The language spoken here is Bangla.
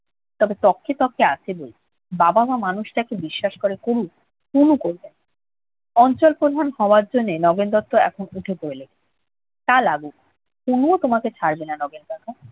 তবে তক্কে তক্কে আছে বৈকি। বাবা-মা মানুষটাকে বিশ্বাস করে করুক। তনু করবে না। অঞ্চল প্রধান হওয়ার জন্যে নগেন দত্ত এখন প্রচুর উঠে-পড়ে লেগেছে। তা লাগুক, তনুও তোমাকে ছাড়বে না নগেন কাকা।